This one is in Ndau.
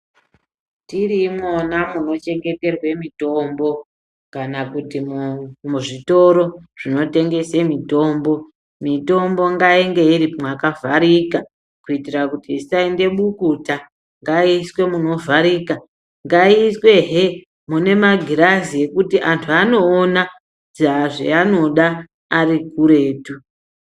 Tiri imwona munochengeterwa mitombo, kana kuti zvitoro zvinotengese mitombo, mitombo ngainge iri mwakavharika kuitira kuti isaende bukuta, ngaiiswe munovharika, ngaiiswehe mune magirazi andu anoona zvaanoda arikuretu.